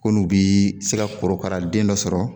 Ko n'u bi se ka korokara den dɔ sɔrɔ